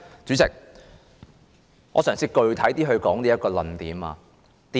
主席，我嘗試更具體地闡述我的論點。